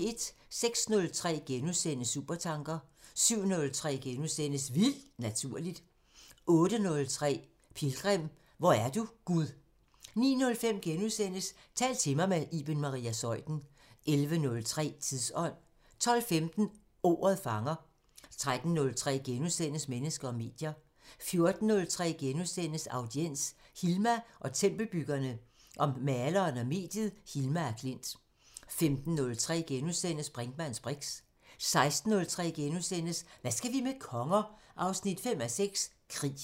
06:03: Supertanker * 07:03: Vildt Naturligt * 08:03: Pilgrim – Hvor er du, Gud? 09:05: Tal til mig – med Iben Maria Zeuthen * 11:03: Tidsånd 12:15: Ordet fanger 13:03: Mennesker og medier * 14:03: Audiens: Hilma og tempelbyggerne- om maleren og mediet Hilma af Klint * 15:03: Brinkmanns briks * 16:03: Hvad skal vi med konger? 5:6 – Krig *